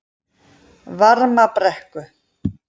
Varmabrekku